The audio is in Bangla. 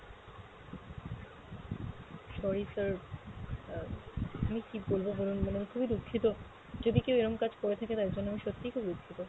sorry, sir, আহ আমি কী বলবো বলুন মানে আমি খুবই দুঃখিত যদি কেও এরম কাজ করে থাকে তার জন্য আমি সত্যিই খুব দুঃখিত।